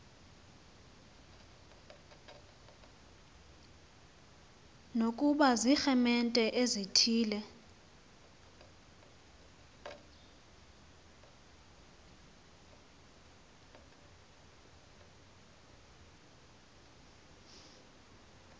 nokuba ziiremente ezithile